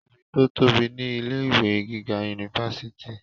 ibi tó tóbi ni ilé ìwé gíga unifásitì